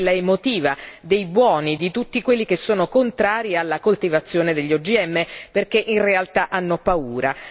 quella emotiva, dei di tutti quelli che sono contrari alla coltivazione degli OGM perché in realtà hanno paura.